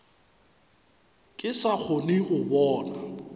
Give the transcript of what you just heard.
ke sa kgone go bona